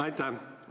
Aitäh!